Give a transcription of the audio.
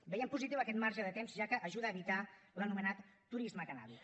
veiem positiu aquest marge de temps ja que ajuda a evitar l’anomenat turisme cannàbic